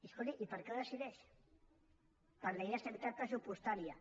escolti i per què ho decideix per la llei d’estabilitat pressupostària